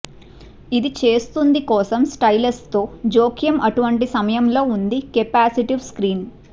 ఇది చేస్తుంది కోసం స్టైలెస్తో జోక్యం అటువంటి సమయంలో ఉంది కెపాసిటివ్ స్క్రీన్